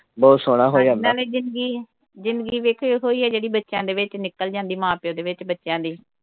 ਬਹੁਤ ਸੋਹਣਾ ਹੋ ਜਾਂਦਾ। ਨਾਲੇ ਜਿੰਦਗੀ ਜਿੰਦਗੀ ਵੇਖੋ ਇਹੋ ਈ ਆ ਜਿਹੜੀ ਬੱਚਿਆਂ ਦੇ ਵਿੱਚ ਨਿਕਲ ਜਾਂਦੀ ਆ ਮਾਂ ਪਿਓ ਦੇ ਵਿੱਚ ਬੱਚਿਆਂ ਦੀ।